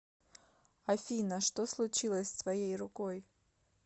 афина что случилось с твоей рукой